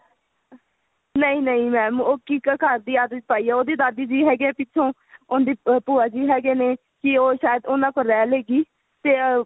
ਨਹੀਂ ਨਹੀਂ mam ਉਹ ਠੀਕ ਹੈ ਘਰ ਦੀ ਆਦਤ ਪਾਈ ਹੈ ਉਹਦੀ ਦਾਦੀ ਜੀ ਹੈਗੇ ਏ ਪਿੱਛੋ ਉਹਦੀ ਭੂਆ ਜੀ ਹੈਗੇ ਨੇ ਕੀ ਉਹ ਸ਼ਾਇਦ ਉਹਨਾ ਕੋਲ ਰਿਹਲੇਗੀ ਤੇ